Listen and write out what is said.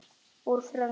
Úr frönsku